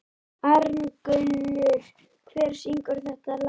Arngunnur, hver syngur þetta lag?